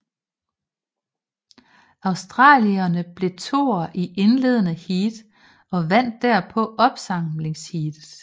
Australierne blev toer i indledende heat og vandt derpå opsamlingsheatet